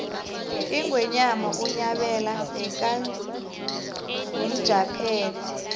ingwenyama unyabela bekangumjaphethe